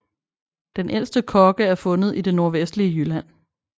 Den ældste kogge er fundet i det nordvestlige Jylland